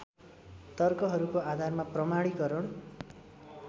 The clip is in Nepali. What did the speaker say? तर्कहरूको आधारमा प्रमाणिकरण